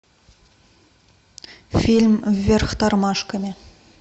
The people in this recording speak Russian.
фильм вверх тормашками